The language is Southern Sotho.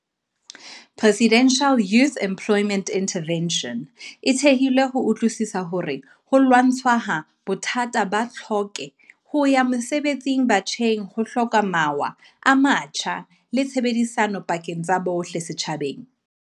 Presidential Youth Emplo yment Intervention e thehilwe ho utlwisiswa hore ho lwa ntshwaha bothata ba tlhoke ho ya mosebetsi batjheng ho hloka mawa a matjha le tshebedisano pakeng tsa bohle setjhabeng.